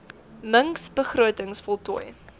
mings begrotings voltooi